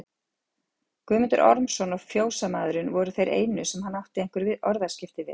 Guðmundur Ormsson og fjósamaðurinn voru þeir einu sem hann átti einhver orðaskipti við.